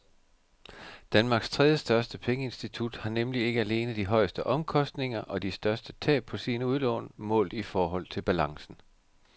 Danmarks tredjestørste pengeinstitut har nemlig ikke alene de højeste omkostninger og de største tab på sine udlån målt i forhold til balancen.